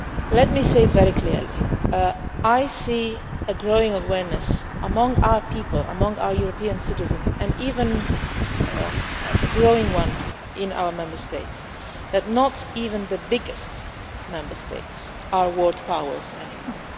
Let me say this very clearly I see a growing awareness among our people, among our European citizens, and even a growing one in our Member States, that not even the biggest Member States are world powers anymore.